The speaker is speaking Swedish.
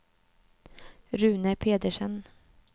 Rune Pedersen